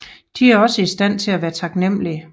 De er også i stand til at være taknemlige